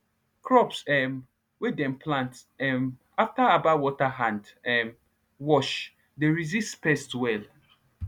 crops um wey dem plant um after herbal water hand um wash dey resist pests well